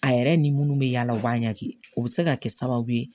A yɛrɛ ni minnu bɛ yaala u b'a ɲagami o bɛ se ka kɛ sababu ye